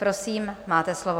Prosím, máte slovo.